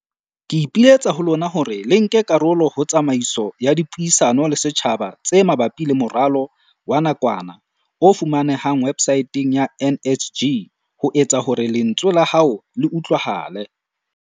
Ke ipiletsa ho lona hore le nke karolo ho tsamaiso ya dipuisano le setjhaba tse ma bapi le moralo wa nakwana, o fumanehang websaeteng ya NSG, ho etsa hore lentswe la hao le utlwahale.